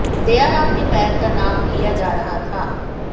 दयाराम के पैर का नाप लिया जा रहा था